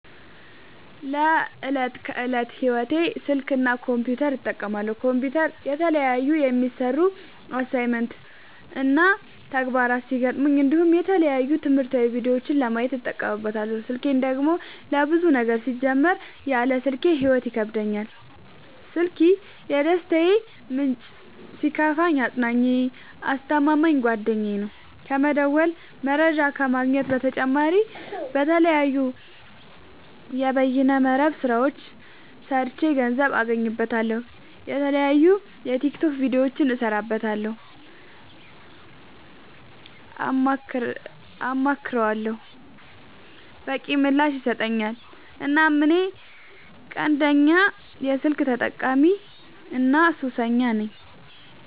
ለዕት ከዕለት ህይወቴ ስልክ እና ኮምፒውተር እጠቀማለሁ። ኮምፒውተር የተለያዩ የሚሰሩ አሳይመንት እና ተግባራት ሲገጥሙኝ እንዲሁም የተለያዩ ትምህርታዊ ቪዲዮዎችን ለማየት እጠቀምበታለው። ስልኬን ደግሞ ለብዙ ነገር ሲጀመር ያለ ስልኬ ህይወት ይከብደኛል። ስልኪ የደስታዬ ምንጭ ሲከፋኝ አፅናኜ አስተማማኝ ጓደኛዬ ነው። ከመደወል መረጃ ከመግኘት በተጨማሪ የተለያዩ የበይነ መረብ ስራዎችን ሰርቼ ገንዘብ አገኝበታለሁ። የተለያዩ የቲክቶክ ቪዲዮዎችን እሰራበታለሁ አማክረዋለሁ። በቂ ምላሽ ይሰጠኛል እናም እኔ ቀንደኛ የስልክ ተጠቀሚና ሱሰኛም ነኝ።